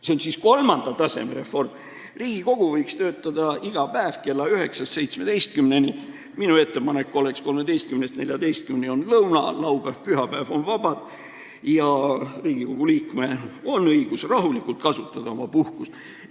See on siis kolmanda taseme reform: Riigikogu võiks töötada iga päev kell 9–17, minu ettepanek oleks, et kell 13–14 on lõuna, laupäev ja pühapäev on vabad ning Riigikogu liikmel on õigus rahulikult oma puhkust kasutada.